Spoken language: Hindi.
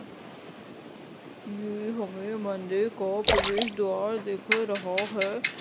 ये हमें मंदिर का प्रवेश द्वारा दिख रहा है।